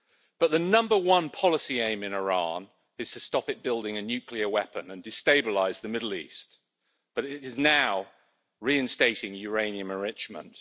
But the number one policy aim in Iran is to stop it building a nuclear weapon and destabilising the Middle East, but it is now reinstating uranium enrichment.